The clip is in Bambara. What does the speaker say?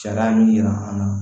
Sariya in jira an na